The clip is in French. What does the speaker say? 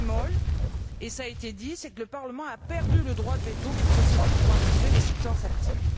Un seul bémol et cela a été dit c'est que le Parlement a perdu le droit de veto qu'il possédait pour approuver les substances actives.